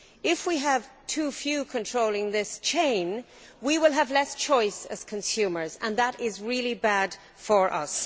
If we have too few controlling this chain, we will have less choice as consumers, and that is really bad for us.